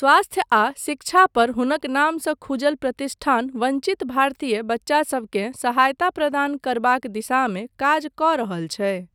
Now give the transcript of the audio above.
स्वास्थ्य आ शिक्षा पर हुनक नामसँ खुजल प्रतिष्ठान वञ्चित भारतीय बच्चासबकेँ सहायता प्रदान करबाक दिशामे काज कऽ रहल छै।